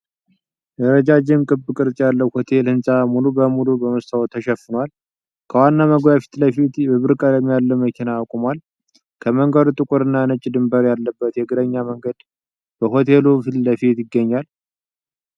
ረጃጅም፣ ክብ ቅርጽ ያለው የሆቴል ሕንፃ ሙሉ በሙሉ በመስታወት ተሸፍኗል። ከዋናው መግቢያ ፊት ለፊት የብር ቀለም ያለው መኪና ቆሟል። ከመንገዱ ጥቁርና ነጭ ድንበር ያለበት የእግረኛ መንገድ በሆቴሉ ፊት ለፊት ይገኛል።